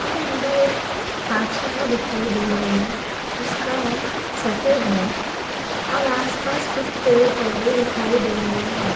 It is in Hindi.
और अंदर एक पाठशाला दिखाई दे रही है उसका रंग सफ़ेद है और आसपास कुछ पेड़-पौधे दिखाई दे रहे हैं।